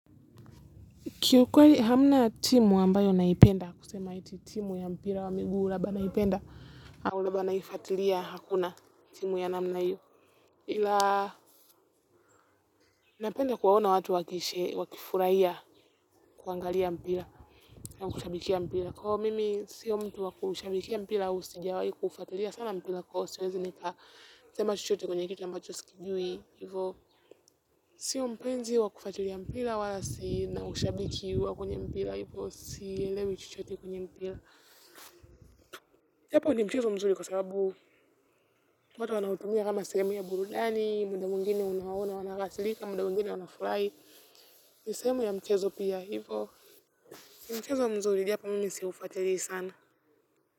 Kiukweli hamna timu ambayo naipenda kusema eti timu ya mpira wa miguu labda naipenda au labda naifuatilia hakuna timu ya namna hio napenda kuwaona watu, wakifurahia kuangalia mpira au kushabikia mpira, kwa hivyo mimi sio mtu wakumshabikia mpira au sijawai kufatilia sana mpira kwa hivo siwezi nika sema chochote kwenye kitu ambacho sikijui. Sio mpenzi wa kufuatilia mpira, wala sina ushabiki wa kwenye mpira hivyo sielewi chochote kwenye mpira. Japo, ni mchezo mzuri kwa sababu, watu wanautumia kama sehemu ya burudani, muda mwingine unawaona wanakasirika, muda mwingine wanafurahi. Ni sehemu ya mchezo pia, hivyo ni mchezo mzuri, japo mimi siufuatili sana.